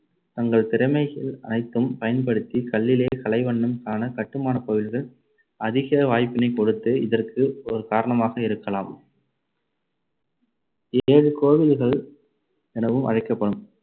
தங்கள் திறமைகள் அனைத்தும் பயன்படுத்தி கல்லிலே கலைவண்ணம் காண, கட்டுமானக் கோவில்கள் அதிக வாய்ப்பினைக் கொடுத்து இதற்கு ஒரு காரணமாக இருக்கலாம். ஏழு கோவில்கள் எனவும் அழைக்கப்படும்